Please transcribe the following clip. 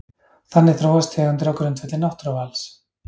Þannig þróast tegundir á grundvelli náttúruvals.